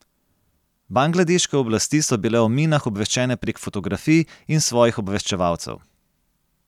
Bangladeške oblasti so bile o minah obveščene prek fotografij in svojih obveščevalcev.